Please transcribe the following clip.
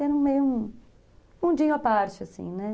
Era meio um mundinho à parte, assim, né?